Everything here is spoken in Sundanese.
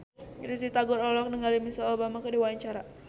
Risty Tagor olohok ningali Michelle Obama keur diwawancara